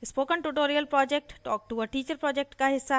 spoken tutorial project talk to a teacher project का हिस्सा है